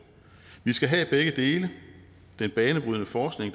vi skal have begge dele den banebrydende forskning